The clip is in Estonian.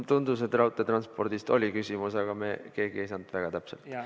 Tundus, et raudteetranspordi kohta oli küsimus, aga me keegi ei saanud väga täpselt aru.